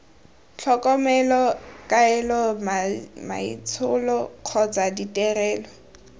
tlhokomelo kaelo maitsholo kgotsa ditirelo